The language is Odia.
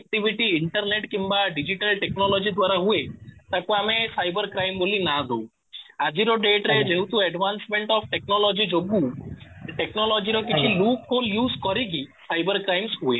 activity ଇଣ୍ଟରନେଟ କିମ୍ବା ଡିଜିଟାଲ ଟେକ୍ନୋଲୋଜି ଦ୍ୱାରା ହୁଏ ତାକୁ ଆମେ ସାଇବର କ୍ରାଇମ ବୋଲି ନାଁ ଦଉ ଆଜିର date ରେ ଯେହେତୁ advancement of ଟେକ୍ନୋଲୋଜି ଯୋଗୁ ସେ ଟେକ୍ନୋଲୋଜି ର କିଛି look କୁ use କରିକି ସାଇବର crimes ହୁଏ